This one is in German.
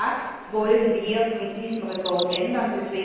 Das wollen wir mit diesem Bericht ändern.